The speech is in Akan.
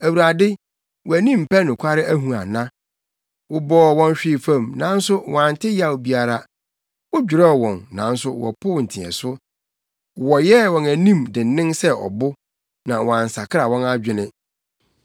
Awurade, wʼani mpɛ nokware ahu ana? Wobɔɔ wɔn hwee fam, nanso wɔante yaw biara; wodwerɛw wɔn, nanso wɔpoo nteɛso. Wɔyɛɛ wɔn anim dennen sen ɔbo na wɔansakra wɔn adwene.